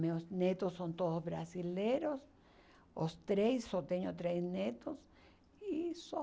Meus netos são todos brasileiros, os três, só tenho três netos, e só.